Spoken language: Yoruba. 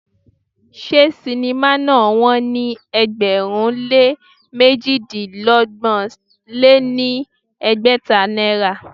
Ṣé sinimá náà wón ní ẹgbẹ̀rún lé méjidínọgbọ̀n lé ní ẹgbẹ́ta náírà?